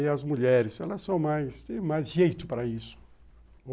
E as mulheres, elas são mais, tem mais jeito para isso.